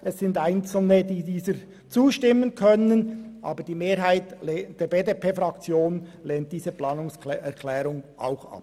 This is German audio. Einzelne werden dieser zustimmen, aber die Mehrheit unserer Fraktion lehnt diese Planungserklärung ebenfalls ab.